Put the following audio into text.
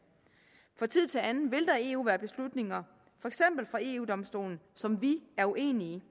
fra tid til anden vil der i eu være beslutninger for eksempel fra eu domstolen som vi er uenige